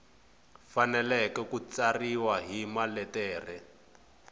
fanele ku tsariwa hi maletere